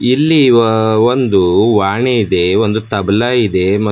ಇಲ್ಲಿ ವಾ ಒಂದು ವಾಣಿ ಇದೆ ಒಂದು ತಬಲ ಇದೆ ಮತ್ --